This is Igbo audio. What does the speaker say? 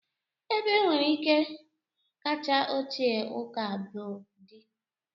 ebe nwere ike kacha ochie ụka br dị